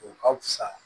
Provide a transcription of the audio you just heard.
O ka fisa